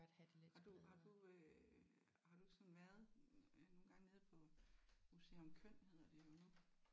Har du har du øh har du ikke sådan været nogle gange nede på museum KØN hedder det jo nu?